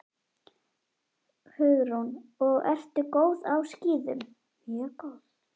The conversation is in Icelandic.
Hugrún: Og ertu góð á skíðum?